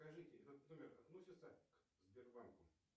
скажите этот номер относится к сбербанку